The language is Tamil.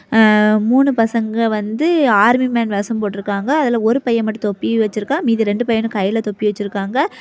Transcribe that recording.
அ மூணு பசங்க வந்து ஆர்மி மேன் வேஷம் போடிற்காங்க அதுல ஒரு பையன் மாட்டு தொப்பி வெச்சிருக்க மீதி ரெண்டு பைனும் கைல தொப்பி வெச்சிற்காங்க.